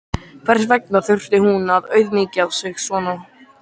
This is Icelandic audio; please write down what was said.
Hvers vegna þurfti hún að auðmýkja sig svona?